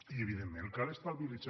i evidentment cal estabilitzar